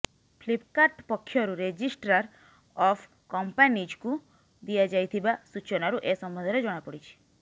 Flipkart ପକ୍ଷରୁ registrar of କମ୍ପାନିଜକୁ ଦିଆଯାଇଥିବା ସୂଚନାରୁ ଏ ସମ୍ବନ୍ଧରେ ଜଣାପଡ଼ିଛି